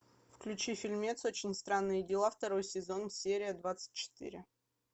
включи фильмец очень странные дела второй сезон серия двадцать четыре